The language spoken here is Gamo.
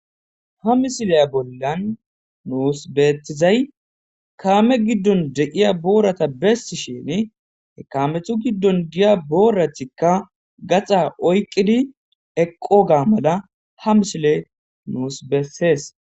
ha misileya bollan nuus beetizay kaame giddon deiya boorata bessi shin hekaamethu giddon diya booratikka gaxa oyqqidi eqqo ga mala ha mishile nuus bessees